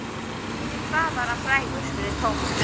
Fyrir hvað var hann frægur? spurði Thomas.